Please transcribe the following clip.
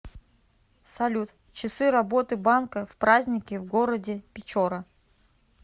салют часы работы банка в праздники в городе печора